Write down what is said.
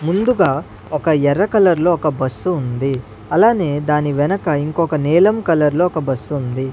ముందుగా ఒక ఎర్ర కలర్ లో ఒక బస్సు ఉంది అలానే దాని వెనక ఇంకొక నేలం కలర్లో ఒక బస్సుంది .